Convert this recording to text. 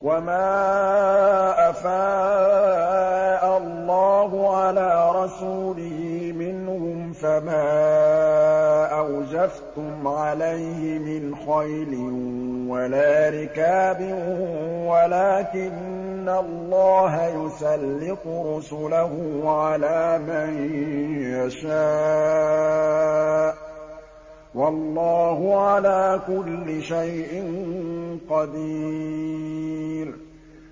وَمَا أَفَاءَ اللَّهُ عَلَىٰ رَسُولِهِ مِنْهُمْ فَمَا أَوْجَفْتُمْ عَلَيْهِ مِنْ خَيْلٍ وَلَا رِكَابٍ وَلَٰكِنَّ اللَّهَ يُسَلِّطُ رُسُلَهُ عَلَىٰ مَن يَشَاءُ ۚ وَاللَّهُ عَلَىٰ كُلِّ شَيْءٍ قَدِيرٌ